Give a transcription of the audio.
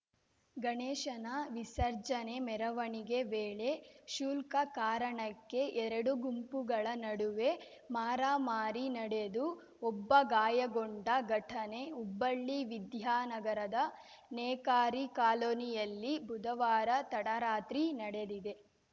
ಗಣೇಶನ ವಿಸರ್ಜನೆ ಮೆರವಣಿಗೆ ವೇಳೆ ಕ್ಷುಲ್ಕ ಕಾರಣಕ್ಕೆ ಎರಡು ಗುಂಪುಗಳ ನಡುವೆ ಮಾರಾಮಾರಿ ನಡೆದು ಒಬ್ಬ ಗಾಯಗೊಂಡ ಘಟನೆ ಹುಬ್ಬಳ್ಳಿ ವಿದ್ಯಾನಗರದ ನೇಕಾರಿ ಕಾಲೋನಿಯಲ್ಲಿ ಬುಧವಾರ ತಡರಾತ್ರಿ ನಡೆದಿದೆ